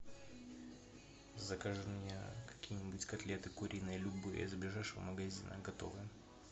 закажи мне какие нибудь котлеты куриные любые с ближайшего магазина готовые